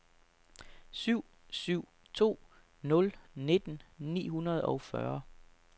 syv syv to nul nitten ni hundrede og fyrre